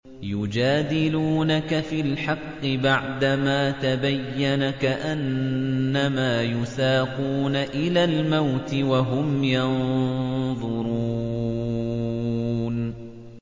يُجَادِلُونَكَ فِي الْحَقِّ بَعْدَمَا تَبَيَّنَ كَأَنَّمَا يُسَاقُونَ إِلَى الْمَوْتِ وَهُمْ يَنظُرُونَ